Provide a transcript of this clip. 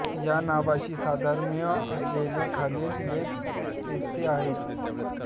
या नावाशी साधर्म्य असलेले खालील लेख येथे आहेत